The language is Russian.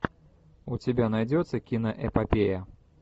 у тебя найдется киноэпопея